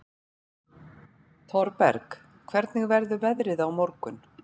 Thorberg, hvernig verður veðrið á morgun?